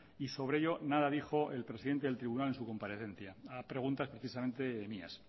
y sobre ello nada dijo el presidente del tribunal en su comparecencia a preguntas precisamente mías